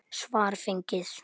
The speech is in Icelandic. Svar fengið.